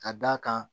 Ka d'a kan